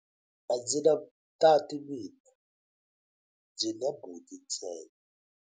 A ndzi na tati mina, ndzi na buti ntsena.